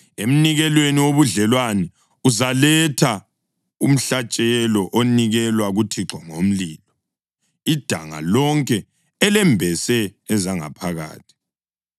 Emnikelweni wobudlelwano uzaletha umhlatshelo onikelwa kuThixo ngomlilo: idanga lonke elembese ezangaphakathi,